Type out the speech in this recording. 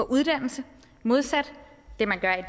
uddannelse modsat det man gør i